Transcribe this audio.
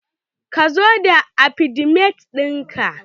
Ka zo da afidevit in ka!